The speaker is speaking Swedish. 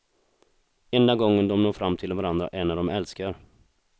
Enda gången de når fram till varandra är när de älskar.